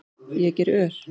Ég geri ör